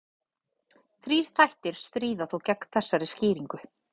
Þrír þættir stríða þó gegn þessari skýringu.